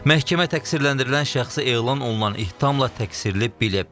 Məhkəmə təqsirləndirilən şəxsi elan olunan ittihamla təqsirli bilib.